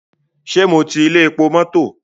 Ṣé mo ti ilé epo mọ́tọ̀?